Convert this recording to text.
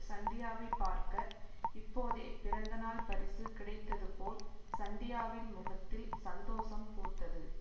சந்தியாவை பார்க்க இப்போதே பிறந்தநாள் பரிசு கிடைத்தது போல் சந்தியாவின் முகத்தில் சந்தோஷம் பூத்தது